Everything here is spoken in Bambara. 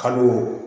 Kalo